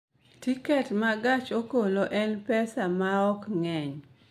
Tiket ma gach okoloen pesa maom ng�eny?